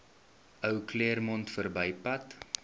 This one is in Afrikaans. ou claremont verbypad